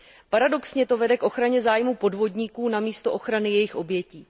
Paradoxně to vede k ochraně zájmů podvodníků namísto ochrany jejich obětí.